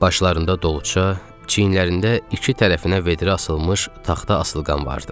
Başlarında dolça, çiyinlərində iki tərəfinə vedrə asılmış taxta asılqan vardı.